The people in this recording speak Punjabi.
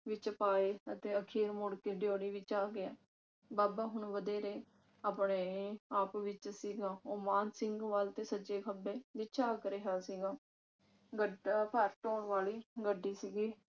ਵਿਚ ਪਾਏ ਅਤੇ ਅਖੀਰ ਮੁੜ ਕੇ ਡਿਓਢੀ ਵਿਚ ਆ ਗਿਆ। ਬਾਬਾ ਹੁਣ ਵਧੇਰੇ ਆਪਣੇ ਆਪ ਵਿਚ ਸੀਗਾ ਉਹ ਮਾਣ ਸਿੰਘ ਵੱਲ ਤੇ ਸੱਜੇ ਖੱਬੇ ਵੀ ਝਾਕ ਰਿਹਾ ਸੀਗਾ। ਬਾਰਤ ਓਣ ਵਾਲੀ ਗੱਡੀ ਸੀਗੀ